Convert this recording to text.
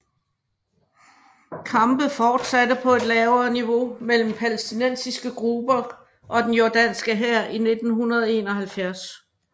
Kampe fortsatte på et lavere niveau mellem palæstinensiske grupper og den jordanske hær i 1971